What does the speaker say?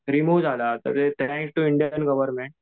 remove झाला आहे Indian government